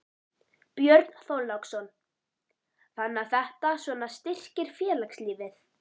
Björn Þorláksson: Þannig að þetta svona styrkir félagslífið?